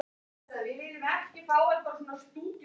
Helga: Er þetta allt á sig leggjandi?